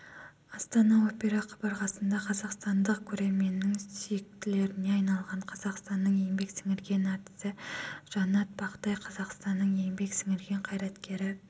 астана опера қабырғасындақазақстандық көрерменнің сүйіктілеріне айналған қазақстанның еңбек сіңірген әртісі жаннат бақтай қазақстанның еңбек сіңірген қайраткері